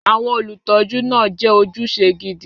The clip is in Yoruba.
Àwọn olùtọ́jú náà jẹ́ ojúṣe gidi.